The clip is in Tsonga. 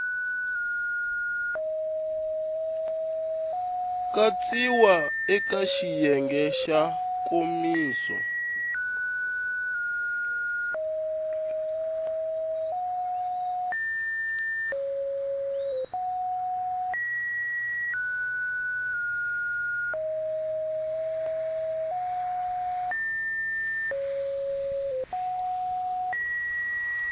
katsiwa eka xiyenge xa nkomiso